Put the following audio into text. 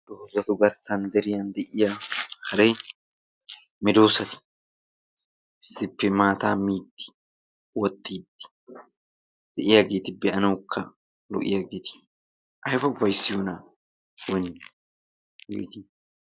Dozatu garssan deriyan de"iya haray meedossati issippe maataa miiddi woxxiidi de''iyaageeti be'anawukka lo'iyaageeti ayba ufayssiyoonaa! woni hegeeti!